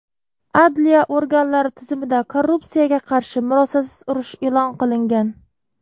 Adliya organlari tizimida korrupsiyaga qarshi murosasiz urush eʼlon qilingan.